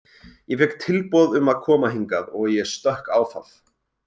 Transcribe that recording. Ég fékk tilboð um að koma hingað og ég stökk á það.